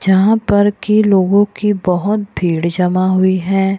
जहाँ पे के लोगों की बहुत भीड़ जमा हुई है।